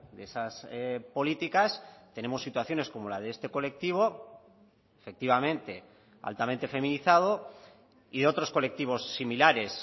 de esas políticas tenemos situaciones como la de este colectivo efectivamente altamente feminizado y de otros colectivos similares